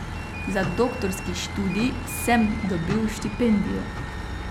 Za doktorski študij sem dobil štipendijo.